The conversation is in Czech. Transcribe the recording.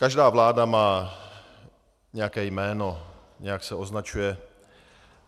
Každá vláda má nějaké jméno, nějak se označuje.